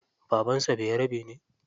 Baban sa bayarabe ne?